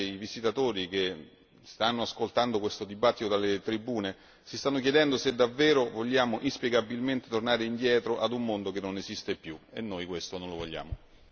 Perché alcuni, magari dei visitatori che stanno ascoltando questo dibattito dalle tribune, si stanno chiedendo se davvero vogliamo inspiegabilmente tornare indietro a un mondo che non esiste più e noi questo non lo vogliamo.